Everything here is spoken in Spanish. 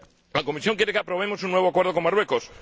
La Comisión quiere que aprobemos un nuevo acuerdo con Marruecos.